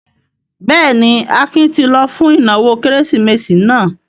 Bẹ́ẹ̀ ni, Akin ti lọ fún ìnáwó Kérésìmesì náà.